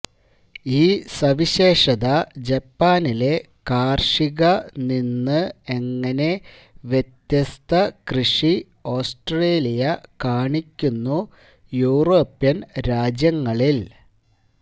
ഈ സവിശേഷത ജപ്പാനിലെ കാർഷിക നിന്ന് എങ്ങനെ വ്യത്യസ്ത കൃഷി ഓസ്ട്രേലിയ കാണിക്കുന്നു യൂറോപ്യൻ രാജ്യങ്ങളിൽ